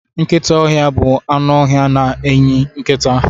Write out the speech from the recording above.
Nkịta ọhịa bụ anụ ọhịa na-eyi nkịta.